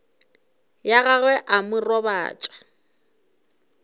ya gagwe a mo robatša